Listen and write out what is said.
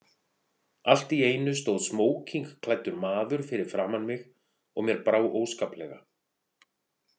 Allt í einu stóð smókingklæddur maður fyrir framan mig og mér brá óskaplega.